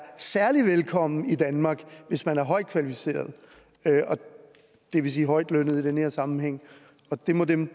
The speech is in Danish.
særlig velkommen i danmark hvis man er højtkvalificeret og det vil sige højtlønnet i den her sammenhæng og det må dem